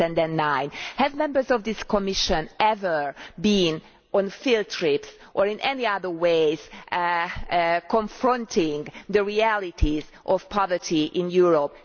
2009. Have members of this Commission ever been on field trips or in any other way confronted the realities of poverty in Europe?